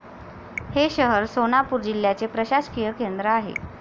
हे शहर सोनापूर जिल्ह्याचे प्रशासकीय केंद्र आहे.